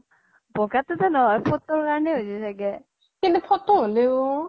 ব্গা তো জে নহয় photo কাৰনে হৈছে চাগে কিন্তু photo হ্'লেও